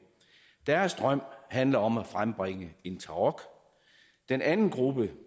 deres drøm handler om at frembringe en tarok den anden gruppe